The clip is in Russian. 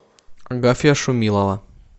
агафья шумилова